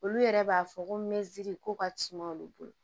Olu yɛrɛ b'a fɔ ko mɛtiri ko ka suma olu bolo